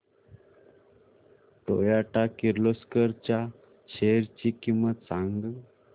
Toyota Kirloskar च्या shares ची किंमत सांग